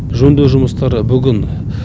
жөндеу жұмыстары бүгін